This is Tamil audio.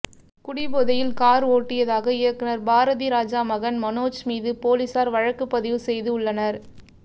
குடிபோதையில் கார் ஓட்டியதாக இயக்குனர் பாரதிராஜா மகன் மனோஜ் மீது போலீசார் வழக்கு பதிவு செய்து உள்ளனர்